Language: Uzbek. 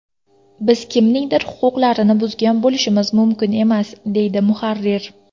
Biz kimningdir huquqlarini buzgan bo‘lishimiz mumkin emas”, deydi muharrir.